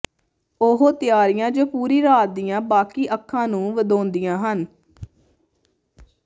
ਉਹ ਤਿਆਰੀਆਂ ਜੋ ਪੂਰੀ ਰਾਤ ਦੀਆਂ ਬਾਕੀ ਅੱਖਾਂ ਨੂੰ ਵਧਾਉਂਦੀਆਂ ਹਨ